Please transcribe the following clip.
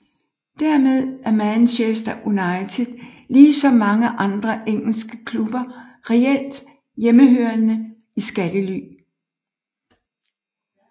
Dermed er Manchester United lige som mange andre engelske klubber reelt hjemmehørende i skattely